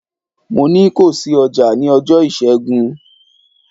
Mo ní ko ṣí ọjà ní ọjọ́ Ìṣẹ́gun!